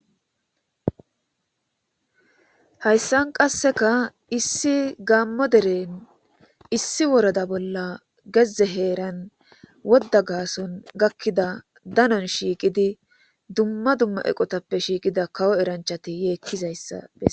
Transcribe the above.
hayssan qasseka issi gaammo deren issi woroda bolla gezze heeran wodda gaason gakkida danon shiiqidi dumma dumma eqotappe shiiqida kawo eranchati yeekkizayssa bes